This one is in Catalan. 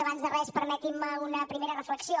abans de res permetin me una primera reflexió